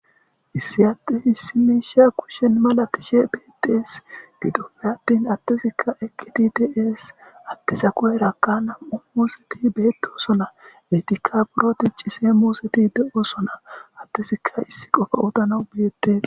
issi atte hissimeisha kushen malatishe beedees gidoppe attin attesikka eqqiti tes attesa kuweraka nam7u muuseti beetosona etikapuroti cise muuseti de7osona attesikka issi qofa utana ubeette